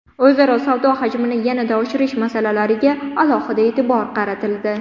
O‘zaro savdo hajmini yanada oshirish masalalariga alohida e’tibor qaratildi.